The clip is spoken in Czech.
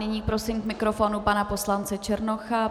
Nyní prosím k mikrofonu pana poslance Černocha.